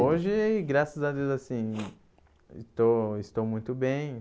Hoje, graças a Deus assim, estou estou muito bem.